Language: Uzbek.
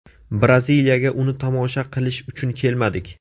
Braziliyaga uni tomosha qilish uchun kelmadik.